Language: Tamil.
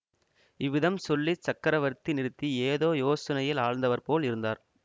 இவ்விதம் சொல்லி சக்கரவர்த்தி நிறுத்தி ஏதோ யோசனையில்ஆழ்ந்தவர் போல் இருந்தார்